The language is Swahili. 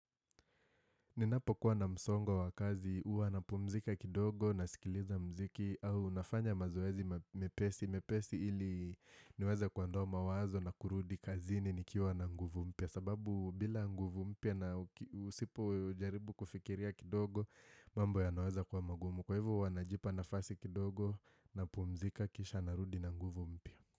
Ninapo kuwa na msongo wa kazi huwa napumzika kidogo nasikiliza mziki au nafanya mazoezi mepesi. Mepesi ili niweze kuondoa mawazo na kurudi kazini nikiwa na nguvu mpya sababu bila nguvu mpya na usipo jaribu kufikiria kidogo mambo yanaweza kuwa magumu. Kwa hivyo huwa najipa nafasi kidogo napumzika kisha narudi na nguvu mpya.